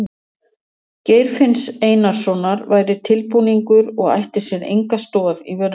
Geir finns Einarssonar væri tilbúningur og ætti sér enga stoð í veruleikanum.